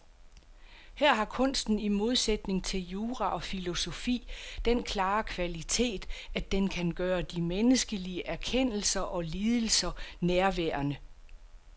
Her har kunsten i modsætning til jura og filosofi den klare kvalitet, at den kan gøre de menneskelige erkendelser og lidelser nærværende.